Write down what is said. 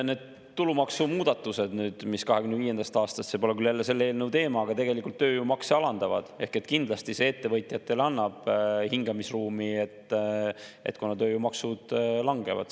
Need tulumaksumuudatused, mis 2025. aastast – see pole küll jälle selle eelnõu teema – tegelikult tööjõumakse alandavad, kindlasti annavad ettevõtjatele hingamisruumi, kuna tööjõumaksud langevad.